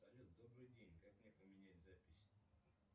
салют добрый день как мне поменять запись